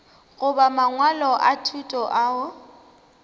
goba mangwalo a thuto ao